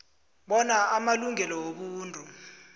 bona amalungelo wobuntu